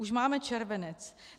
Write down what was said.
Už máme červenec.